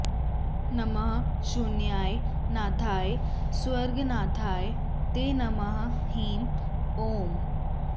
नमः शून्याय नाथाय स्वर्गनाथाय ते नमः ह्रीं ॐ